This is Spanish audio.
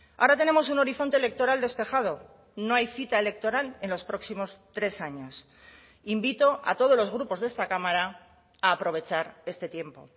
ahora tenemos un horizonte electoral despejado no hay cita electoral en los próximos tres años invito a todos los grupos de esta cámara a aprovechar este tiempo